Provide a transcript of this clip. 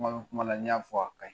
Kuma bɛ kuma la n'i y'a fɔ a ka ɲi